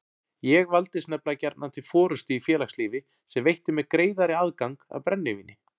Ég valdist nefnilega gjarnan til forystu í félagslífi sem veitti mér greiðari aðgang að brennivíni.